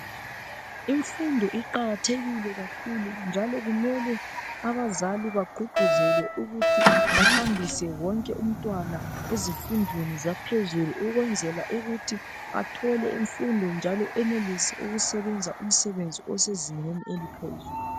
Imfundo iqakathekile kakhulu njalo kummele abazali bagqugquzelwe ukuthi bahambise wonke umtwana ezifundweni zaphezulu, ukwenzela ukuthi bathole imfundo njalo enelise ukusebenza umsebenzi osezingeni eliphezulu.